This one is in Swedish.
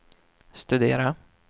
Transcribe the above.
studera